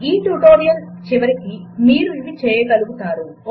ఈ ట్యుటొరియల్ చరమాంకానికి మీరు ఇవి చేయగలుగుతారు 1